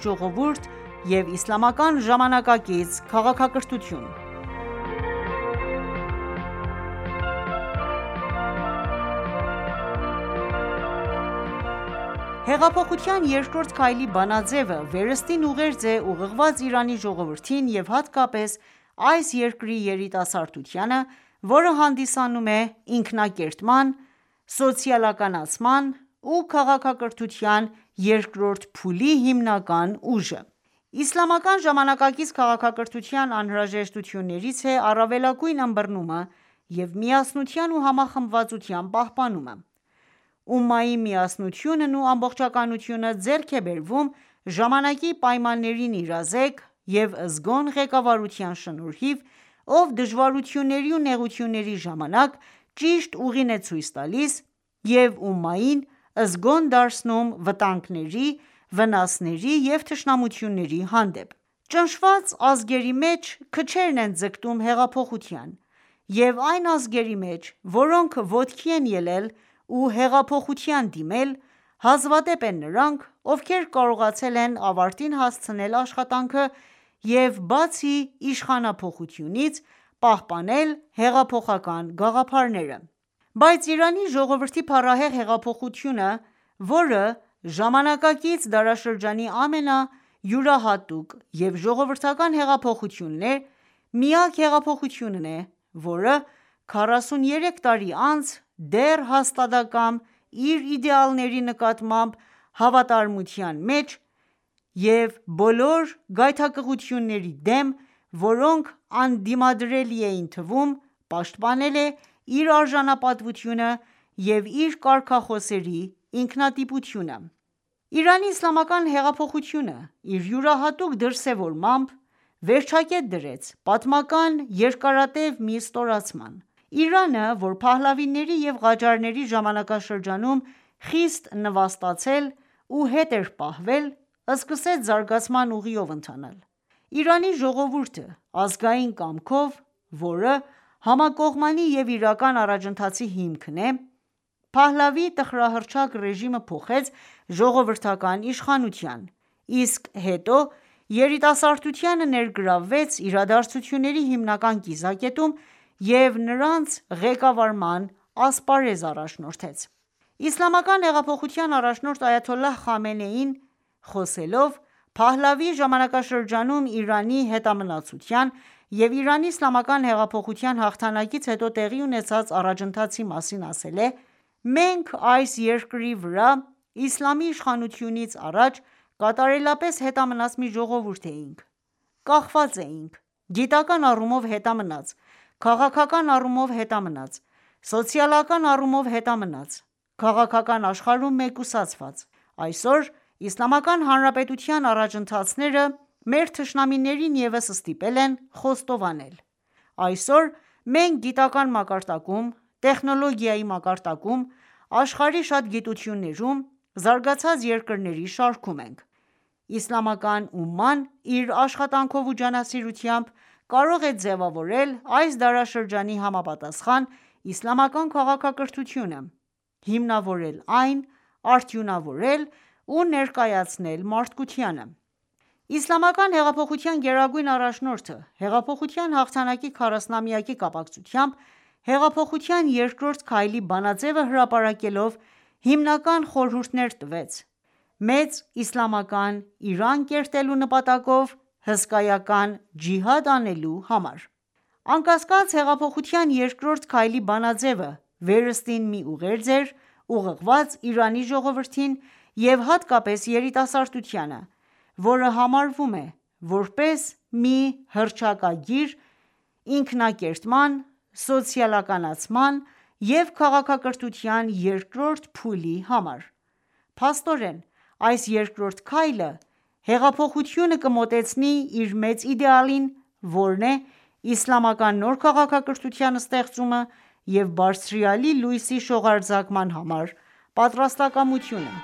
ժողովուրդ և իսլամական ժամանակակից քաղաքակրթություն(3.Նվիրված այգաբացի տասնօրյակին) Փետրվար 03, 2022 06:31 Asia/Tehran «Հեղափոխության երկրորդ քայլ»-ի բանաձևը, վերըստին ուղերձ է ուղղված Իրանի ժողովրդին և հատկապես այս երկրի երիտասարդությանը, որը հանդիսանում է «ինքնակերտման, սոցիալականացման ու քաղաքակրթության երկրորդ փուլի» հիմնական ուժը։ Իսլամական ժամանակակից քաղաքակրթության անհրաժեշտություններից է առավելագույն ըմբռնումը և միասնության ու համախմբվածության պահպանումը։ Ումմայի միասնությունն ու ամբողջականությունը ձեռք է բերվում ժամանակի պայմաններին իրազեկ և զգոն ղեկավարության շնորհիվ, ով դժվարությունների ու նեղությունների ժամանակ ճիշտ ուղին է ցույց տալիս և ումմային զգոն դարձնում վտանգների, վնասների ու թշնամությունների հանդեպ: Ճնշված ազգերի մեջ, քչերն են ձգտում հեղափոխության.և այն ազգերի մեջ, որոնք ոտքի են ելել ու հեղափոխության դիմել ,հազվադեպ են նրանք, ովքեր կարողացել են ավարտին հասցնել աշխատանքը և բացի իշխանափոխությունից ,պահպանել հեղափոխական գաղափարները: Բայց Իրանի ժողովրդի փառահեղ հեղափոխությունը, որը ժամանակակից դարաշրջանի ամենայուրահատուկ և ժողովրդական հեղափոխությունն է, միակ հեղափոխությունն է, որը քառասուներեք տարի անց դեռ հաստատակամ իր իդեալների նկատմամբ հավատարմության մեջ և բոլոր գայթակղությունների դեմ, որոնք անդիմադրելի էին թվում, պաշտպանել է իր արժանապատվությունը և իր կարգախոսների ինքնատիպությունը։ Իրանի Իսլամական Հեղափոխությունը իր յուրահատուկ դրսևորմամբ, վերջակետ դրեց պատմական երկարատև մի ստորացման:Իրանը ,որը Փահլավիների և Ղաջարների ժամանակաշրջաններում խիստ նվաստացել ու հետ էր պահվել, սկսեց զարգացման ուղիով ընթանալ: Իրանի ժողովուրդը՝ ազգային կամքով, որը համակողմանի և իրական առաջընթացի հիմքն է,Փահլավիի տխրահռչակ ռեժիմը փոխեց ժողովրդական իշխանության, իսկ հետո երիտասարդությանը ներգրավվեց իրադարձությունների հիմնական կիզակետում ու նրանց ղեկավարման ասպարեզ առաջնորդեց: Իսլամական հեղափոխության առաջնորդ Այաթոլլահ Խամենեին խոսելով Փահլավիի ժամանակաշրջանում Իրանի հետամնացության և Իրանի իսլամական հեղափոխության հաղթանակից հետո տեղի ունեցած առաջընթացի մասին, ասել է.«Մենք այս երկրի վրա Իսլամի իշխանությունից առաջ, կատարելապես հետամնաց մի ժողովուրդ էինք, կախված էինք ,գիտական առումով հետամնաց, քաղաքական առումով հետամնաց, սոցիալական առումով հետամնաց ,քաղաքական աշխարհում մեկուսացված, այսօր Իսլամական Հնարապետության առաջընթացները ,մեր թշնամիներին ևս ստիպել են խոստովանել :Այսօր մենք գիտական մակարդակում ,տեխնոլոգիայի մակարդակում ,աշխարհի շատ գիտություններում ,զարգացած երկրների շարքում ենք... Իսլամական ումման իր աշխատանքով ու ջանասիրությամբ, կարող է ձևավորել այս դարաշրջանի համապատասխան իսլամական քաղաքակրթությունը, հիմնավորել այն ,արդյունավորել ու ներկայացնել մարդկությանը»: Իսլամական հեղափոխության գերագույն առաջնորդը հեղափոխության հաղթանակի 40-ամյակի կապակցությամբ «Հեղափոխության երկրորդ քայլ»-ի բանաձևը հրապարակելով ,հիմնական խորհուրդներ տվեց ՝ «Մեծ իսլամական Իրան կերտելու նպատակով հսկայական ջիհադ» անելու համար:Անկասկած, «Հեղափոխության երկրորդական քայլի»բանաձևը վերստին մի ուղերձ էր ՝ ուղղված Իրանի ժողովրդին և հատկապես երիտասարդությանը, որը համարվում է ,որպես մի հռչակագիր «ինքնակերտման, սոցիալականացման և քաղաքակրթության երկրորդ փուլի համար»։Փաստորեն, այս երկրորդ քայլը հեղափոխությունը կմոտեցնի իր մեծ իդեալին, որն է «իսլամական նոր քաղաքակրթության ստեղծումը և բարձրյալի լույսի շողարձակման համար պատրաստակամությունը»: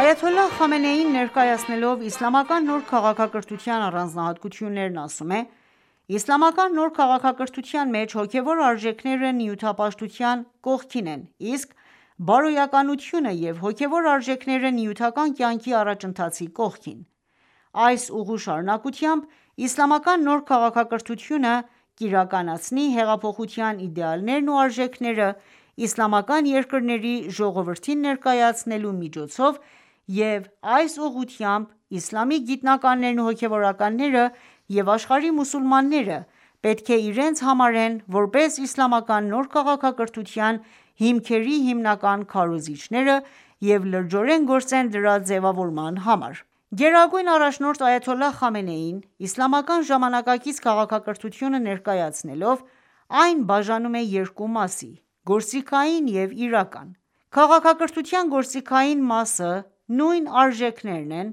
Այաթոլլահ Խամենեին ներկայացնելով իսլամական նոր քաղաքակրթության առանձնահատկությունները ասում է.«Իսլամական նոր քաղաքակրթության մեջ հոգևոր արժեքները նյութապաշտության կողքին են, իսկ բարոյականությունը և հոգեւոր արժեքները նյութական կյանքի առաջընթացի կողքին»:Այս ուղու շարունակությամբ իսլամական նոր քաղաքակրթությունը կիրականացնի հեղափոխության իդեալներն ու արժեքներն իսլամական երկրների ժողովրդին ներկայացնելու միջոցով և այս ուղղությամբ իսլամի գիտնականներն ու հոգևորականները և աշխարհի մուսուլմանները պետք է իրենց համարեն, որպես իսլամական նոր քաղաքակրթության հիմքերի հիմնական քարոզիչներ և լրջորեն գործեն դրա ձևավորման համար։ Գերագույն առաջնորդ Այաթոլլահ Խամենեին, իսլամական ժամանակակից քաղաքակրթությունը ներկայացնելով, այն բաժանում է երկու մասի՝ գործիքային և իրական:.Քաղաքակրթության գործիքային մասը նույն արժեքներն են,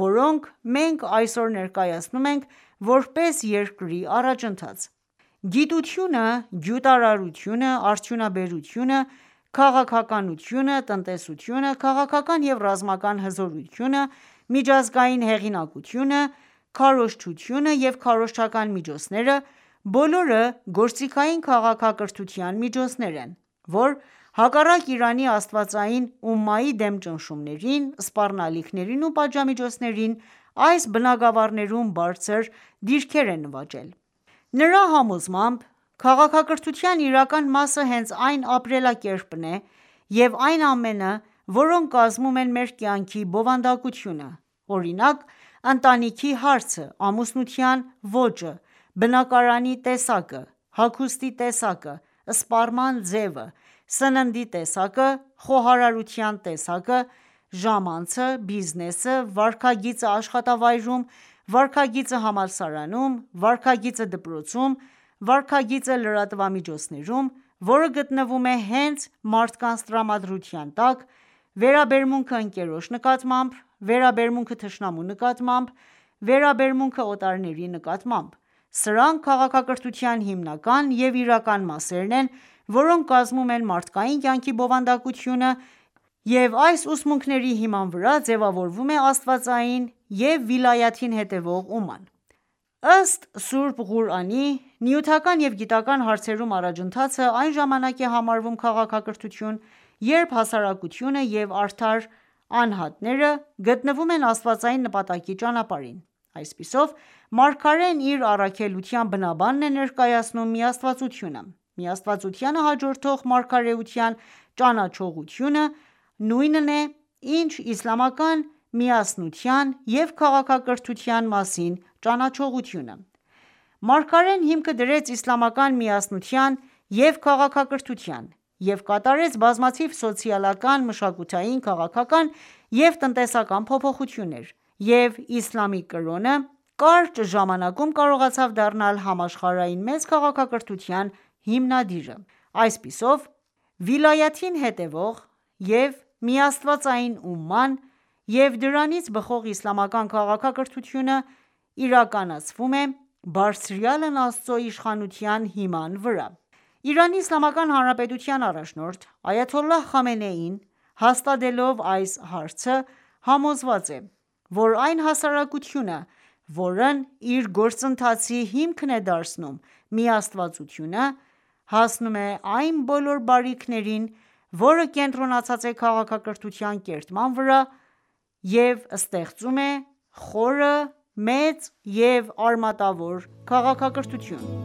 որոնք մենք այսօր ներկայացնում ենք որպես երկրի առաջընթաց։ Գիտությունը, գյուտարարությունը, արդյունաբերությունը, քաղաքականությունը, տնտեսությունը, քաղաքական և ռազմական հզորությունը, միջազգային հեղինակությունը, քարոզչությունը և քարոզչական միջոցները. բոլորը գործիքային քաղաքակրթության միջոցներ են, որ հակառակ Իրանի աստվածային ումմայի դեմ ճնշումներին, սպառնալիքներին ու պատժամիջոցներին ,այս բնագավառներում բարձր դիրքեր է նվաճել: Նրա համոզմաբ, քաղաքակրթության իրական մասը հենց այն ապրելակերպն է և այն ամենը, որոնք կազմում են մեր կյանքի բովանդակությունը, օրինակ՝ ընտանիքի հարցը, ամուսնության ոճը, բնակարանի տեսակը, հագուստի տեսակը, սպառման ձևը, սննդի տեսակը, խոհարարության տեսակը, ժամանցը, բիզնեսը, վարքագիծը աշխատավայրում, վարքագիծը համալսարանում, վարքագիծը դպրոցում, վարքագիծը լրատվամիջոցներում, որը գտնվում է հենց մարդկանց տրամադրության տակ, վերաբերմունքը ընկերոջ նկատմամբ, վերաբերմունքը թշնամու նկատմամբ, վերաբերմունքը օտարների նկատմամբ, սրանք քաղաքակրթության հիմնական և իրական մասերն են, որոնք կազմում են մարդկային կյանքի բովանդակությունը և այս ուսմունքների հիման վրա ձևավորվում է աստվածային և վիլայաթին հետևող ումման: Ըստ Սուրբ Ղուրանի, նյութական և գիտական ​​հարցերում առաջընթացը այն ժամանակ է համարվում քաղաքակրթություն, երբ հասարակությունը և արդար անհատները գտնվում են աստվածային նպատակի ճանապարհին:Այսպիսով, Մարգարեն իր առաքելության բնաբանն է ներկայացնում՝ միաստվածությունը:Միաստվածությանը հաջորդող մարգարեության ճանաչողությունը նույնն է, ինչ իսլամական միասնության և քաղաքակրթության մասին ճանաչողությունը:Մարգարեն ,հիմքը դրեց իսլամական միասնության ու քաղաքակրթության և կատարեց բազմաթիվ սոցիալական, մշակութային, քաղաքական և տնտեսական փոփոխություններ և իսլամի կրոնը կարճ ժամանակում կարողացավ դառնալ համաշխարհային մեծ քաղաքակրթության հիմնադիրը։ Այսպիսով, վիլայաթին հետևաող և միաստվածային ումման և դրանից բխող իսլամական քաղաքակրթությունը իրականացվում է «Բարձրյալն Աստծու » իշխանության հիման վրա:Իրանի Իսլամական Հանրապետության առաջնորդ Այաթոլլահ Խամենեին հաստատելով այս հարցը համոզված է, որ այն հասարակությունը, որն իր գործընթացի հիմքն է դարձնում միաստվածությունը, հասնում է այն բոլոր բարիքներին, որը կենտրոնացած ​​է քաղաքակրթության կերտման վրա և ստեղծում է, խորը ,մեծ և արմատավոր քաղաքակրթություն։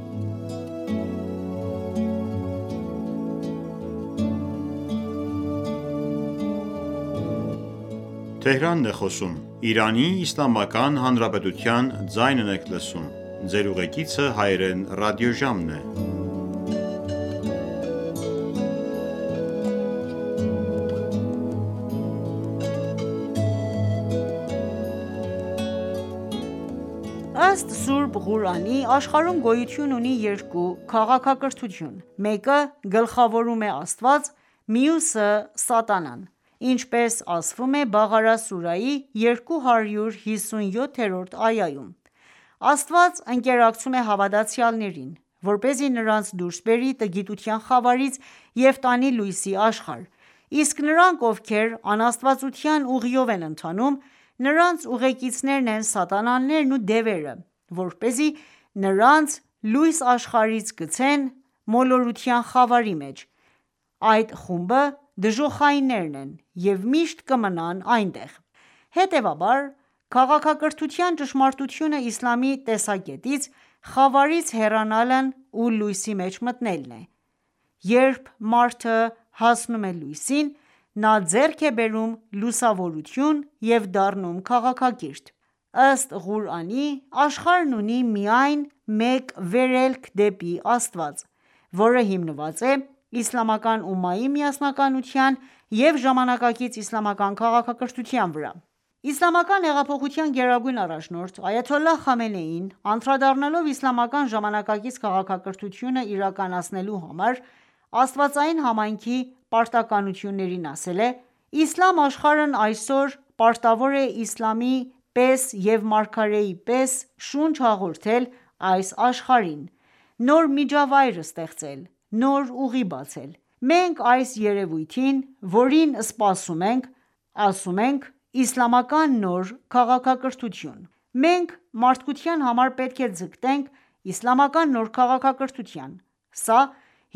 Ըստ Սուրբ Ղուրանի՝ աշխարհում գոյություն ունի երկու քաղաքակրթություն՝ մեկը գլխավորում է Աստված, մյուսը՝ սատանան, ինչպես ասվում է Բաղարա սուրահի 257-րդ այայում.«Աստված ընկերակցում է հավատացյալներին, որպեսզի նրանց դուրս բերի տգիտության խավարից և տանի լույսի աշխարհ, իսկ նրանք, ովքեր անաստվածության ուղիով են ընթանում, նրանց ուղեկիցներն են սատանաներն ու դևերը, որպեսզի նրանց լույս աշխարհից գցեն մոլորության խավարի մեջ, այդ խումբը դժոխայիններն են և միշտ կմնան այնտեղ»: Հետևաբար, քաղաքակրթության ճշմարտությունը իսլամի տեսակետից խավարից հեռանալն ու լույսի մեջ մտնելն է,երբ մարդը հասնում է լույսին, նա ձեռք է բերում լուսավորություն և դառնում քաղաքակիրթ։ Ըստ Ղուրանի՝ աշխարհն ունի միայն մեկ վերելք դեպի Աստված, որը հիմնված է իսլամական ումմայի միասնականության և ժամանակակից իսլամական քաղաքակրթության վրա։ Իսլամական հեղափոխության գերագույն առաջնորդ այաթոլլահ Խամենեին ,անդրադառնալով Իսլամական ժամանակակից քաղաքակրթությունը իրականացնելու համար աստվածային համայնքի պարտականություններին ասել է.«Իսլամ աշխարհն այսօր պարտավոր է Իսլամի պես և մարգարեի պես շունչ հաղորդել այս աշխարհին ,նոր միջավայր ստեղծել ,նոր ուղի բացել: Մենք այս երևույթին ,որին սպասում ենք ասում ենք «Իսլամական նոր քաղաքակրթություն»: Մենք մարդկության համար պետք է ձգտենք իսլամական նոր քաղաքակրթության ,սա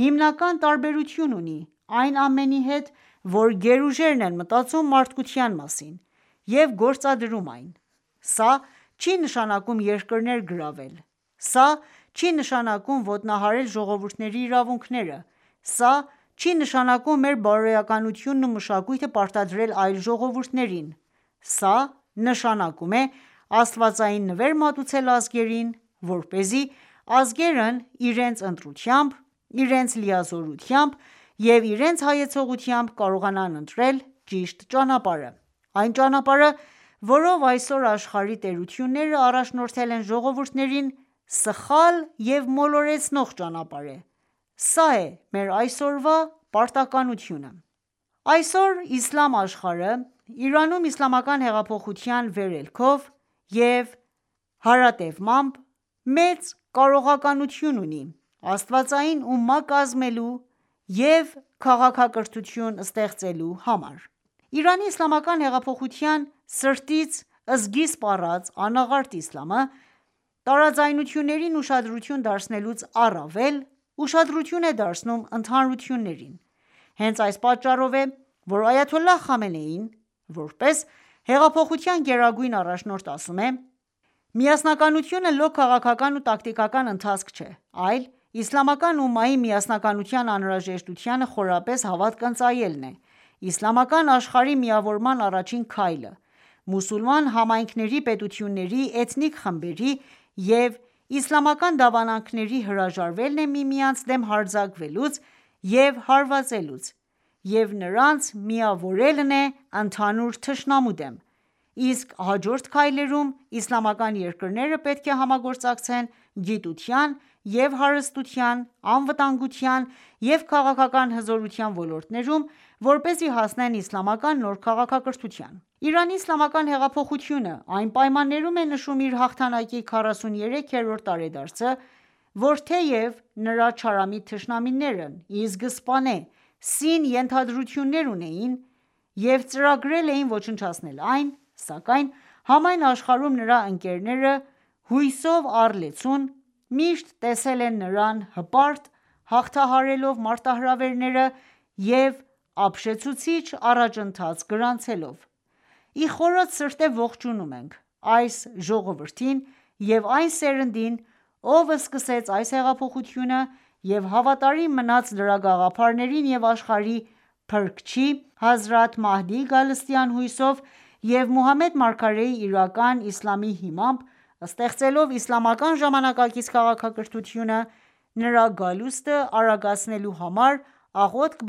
հիմնական տարբերություն ունի այն ամենի հետ ,որ գերուժերն են մտածում մարդկության մասին և գործադրում այն ,սա չի նշանակում երկրներ գրավել, սա չի նշանակում ոտնահարել ժողովուրդների իրավունքները ,սա չի նշանակում մեր բարոյականությունն ու մշակույթը պարտադրել այլ ժողովուրդներին ,սա նշանակում է աստվածային նվեր մատուցել ազգերին, որպեսզի ազգերն իրենց ընտրությամբ, իրենց լիազորությամբ և իրենց հայեցողությամբ կարողանան ընտրել ճիշտ ճանապարհը։ Այն ճանապարհը, որով այսօր աշխարհի տերությունները առաջնորդել են ժողովուրդներին, սխալ և մոլորեցնող ճանապարհ:Սա է մեր այսօրվա պարտականությունը»: Այսօր Իսլամ աշխարհը ,Իրանում Իսլամական հեղափոխության վերելքով և հարատևմամբ, մեծ կարողականություն ունի աստվածային ումմա կազմելու և քաղաքակրթություն ստեղծելու համար:Իրանի Իսլամական հեղափոխության սրտից սկիզբ առած անաղարտ Իսլամը ,տարաձայնություններին ուշադրություն դարձնելուց առավել ,ուշադրություն է դարձնում ընդհանրություններին :Հենց այդ պատճառով է ,որ այաթոլլահ Խամենեին ,որպես հեղափոխության գերագույն առաջնորդ ասում է.«Միասնականությունը լոկ քաղաքական ու տակտիկական ընթացք չէ, այլ ՝իսլամական ումմայի միասնականության անհրաժեշտությանը խորապես հավատք ընծայելն է,իսլամական աշխարհի միավորման առաջին քայլը՝. մուսուլման համայնքների, պետությունների, էթնիկ խմբերի և իսլամական դավանանքների հրաժարվելն է միմյանց դեմ հարձակվելուց և հարվածելուց և նրանց միավորվելն է ընդհանուր թշնամու դեմ ,իսկ հաջորդ քայլերում իսլամական երկրները պետք է համագործակցեն գիտության և հարստության, անվտանգության և քաղաքական հզորության ոլորտներում, որպեսզի հասնեն իսլամական նոր քաղաքակրթության»: Իրանի իսլամական հեղափոխությունը, այն պայմաններում է նշում իր հաղթանակի քառասուներեք երրորդ տարեդարձը, որ թեև նրա չարամիտ թշնամիներն ի սկզբանե սին ենթադրություններ ունեին և ծրագրել էին ոչնչացնել այն, սակայն համայն աշխարհում նրա ընկերները հույսով առլեցուն միշտ տեսել են նրան հպարտ՝ հաղթահարելով մարտահրավերները և ապշեցուցիչ առաջընթաց գրանցելով:Ի խորոց սրտե ողջունում ենք այս ժողովրդին և այն սերնդին ,ով սկսեց այս հեղափոխությունը և հավատարիմ մնաց դրա գաղափարներին և աշխարհի փրկչի հազրաթ Մեհդիի գալստյան հույսով և Մուհամմեդ մարգարեի իրական Իսլամի հիմամբ ,ստեղծելով իսլամական ժամանակակից քաղաքակրթությունը ,նրա գալուստը արագացնելու համար աղոթք